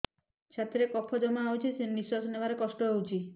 ଛାତିରେ କଫ ଜମା ହୋଇଛି ନିଶ୍ୱାସ ନେବାରେ କଷ୍ଟ ହେଉଛି